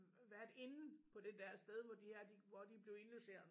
Værtinde på det der sted hvor de her de hvor de blev indlogeret